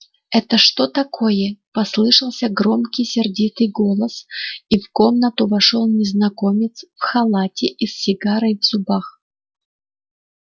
это что такое послышался громкий сердитый голос и в комнату вошёл незнакомец в халате и с сигарой в зубах